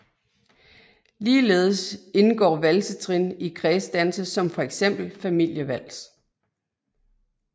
Ligeledes indgår valsetrin i kredsdanse som for eksempel Familievals